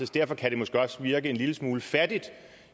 derfor kan det måske også virke en lille smule fattigt